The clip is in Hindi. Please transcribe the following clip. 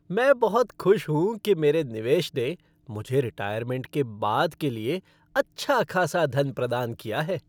मैं बहुत खुश हूँ कि मेरे निवेश ने मुझे रिटायरमेंट के बाद के लिए अच्छा खासा धन प्रदान किया है।